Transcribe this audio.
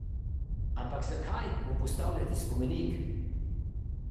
Ampak zakaj mu postavljati spomenik?